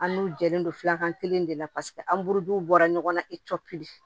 An n'u jɛlen don filakan kelen de la paseke an buru bɔra ɲɔgɔn na i cɔ pili